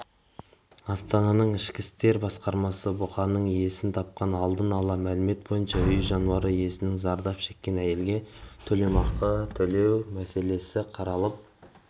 астананың ішкі істер басқармасы бұқаның иесін тапқан алдын ала мәлімет бойынша үй жануары иесінің зардап шеккен әйелге өтемақы төлеу мәселесі қаралып